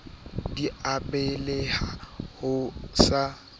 di a baleha o sa